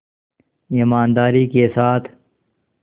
ईमानदारी के साथ